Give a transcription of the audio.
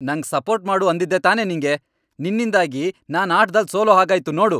ನಂಗ್ ಸಪೋರ್ಟ್ ಮಾಡು ಅಂದಿದ್ದೆ ತಾನೇ ನಿಂಗೆ! ನಿನ್ನಿಂದಾಗಿ ನಾನ್ ಆಟ್ದಲ್ ಸೋಲೋ ಹಾಗಾಯ್ತು ನೋಡು!